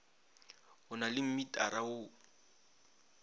o na le mmitara wo